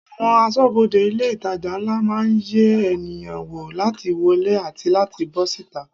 Àwọn aṣọ́bodè ilé itàjà ńlá máa ń yẹ ènìyàn wo láti wọlé àti láti bó síta.